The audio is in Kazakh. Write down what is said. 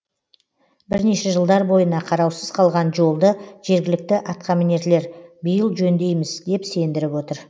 бірнеше жылдар бойына қараусыз қалған жолды жергілікті атқамінерлер биыл жөндейміз деп сендіріп отыр